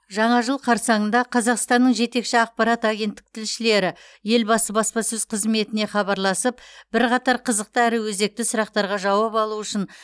жаңа жыл қарсаңында қазақстанның жетекші ақпарат агенттік тілшілері елбасы баспасөз қызметіне хабарласып бірқатар қызықты әрі өзекті сұрақтарға жауап алу үшін